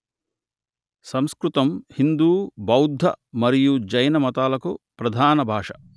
సంస్కృతం హిందూ బౌద్ధ మరియు జైన మతాలకు ప్రధాన భాష